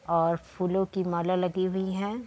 और फूलो की माला लगी हुईं हैं।